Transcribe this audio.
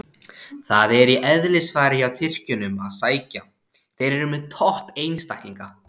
Það er í eðlisfari hjá Tyrkjunum að sækja, þeir eru með topp einstaklinga.